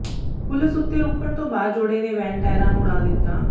ਪੁਲਸ ਉੱਤੇ ਰੁਕਣ ਤੋਂ ਬਾਅਦ ਜੋੜੇ ਨੇ ਵੈਨ ਟਾਇਰਾਂ ਨੂੰ ਉਡਾ ਦਿੱਤਾ